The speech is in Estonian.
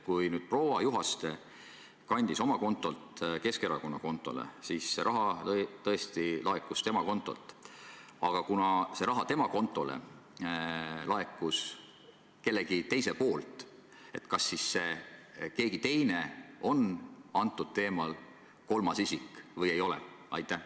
Kui proua Juhaste kandis oma kontolt Keskerakonna kontole, siis see raha tõesti laekus tema kontolt, aga kuna see raha laekus tema kontole kelleltki teiselt, siis kas see keegi teine on selles teemas puhul kolmas isik või ei ole?